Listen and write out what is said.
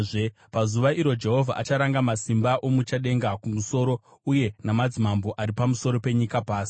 Pazuva iro Jehovha acharanga masimba omuchadenga kumusoro, uye namadzimambo ari pamusoro penyika pasi.